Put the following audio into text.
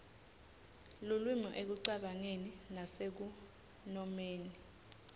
lulwimi ekucabangeni nasekunomeni